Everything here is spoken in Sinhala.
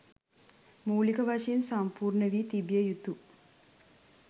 මූලික වශයෙන් සම්පූර්ණවී තිබිය යුතු